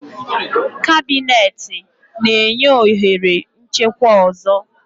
Cabineti na-enye ohere nchekwa ọzọ.